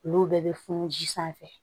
Olu bɛɛ bɛ funu ji sanfɛ